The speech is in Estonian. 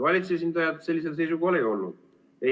Valitsuse esindajad sellisel seisukohal ei olnud.